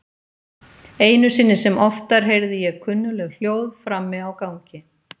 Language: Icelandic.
Einu sinni sem oftar heyrði ég kunnugleg hljóð frammi á gangi.